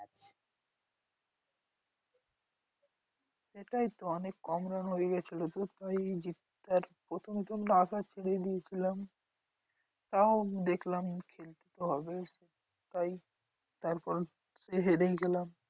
সেটাই তো অনেক কম run হয়ে গেছিলো আশা ছেড়েই দিয়েছিলাম। তাও দেখলাম খেলতে তো হবেই তাই তারপরে সেই হেরেই গেলাম।